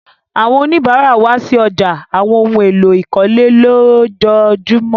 Àwọn oníbàrà wa sí ọ̀já awọn ohun èlò ìkọ́lé lọjọọjumọ.